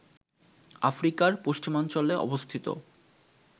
আফ্রিকার পশ্চিমাঞ্চলে অবস্থিত